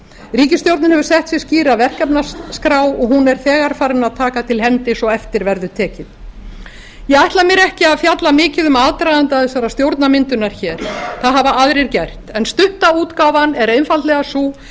ríkisstjórnin hefur sett sér skýra verkefnaskrá og hún er þegar farin að taka til hendi svo eftir verður tekið ég ætla mér ekki að fjalla mikið um aðdraganda þessarar stjórnarmyndunar hér það hafa aðrir gert en stutta útgáfan er einfaldlega sú